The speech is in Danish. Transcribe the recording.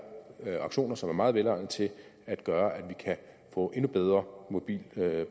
auktioner som er meget velegnede til at gøre at vi kan få et endnu bedre mobilt